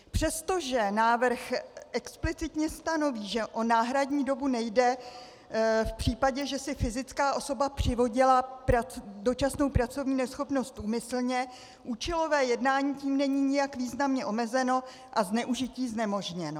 Přestože návrh explicitně stanoví, že o náhradní dobu nejde v případě, že si fyzická osoba přivodila dočasnou pracovní neschopnost úmyslně, účelové jednání tím není nijak významně omezeno a zneužití znemožněno.